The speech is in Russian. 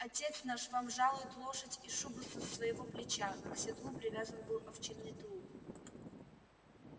отец наш вам жалует лошадь и шубу со своего плеча к седлу привязан был овчинный тулуп